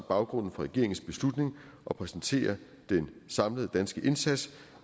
baggrunden for regeringens beslutning og præsentere den samlede danske indsats